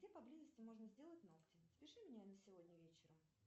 где поблизости можно сделать ногти запиши меня на сегодня вечером